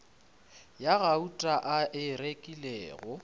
ya gauta a e rekilego